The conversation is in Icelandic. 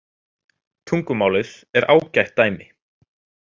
Tungumálið er ágætt dæmi.